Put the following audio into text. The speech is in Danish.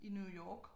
I New York